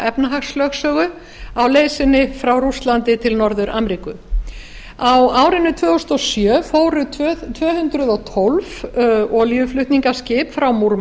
efnahagslögsögu á leið sinni frá rússlandi til norður ameríku á árinu tvö þúsund og sjö fóru tvö hundruð og tólf olíuflutningaskip frá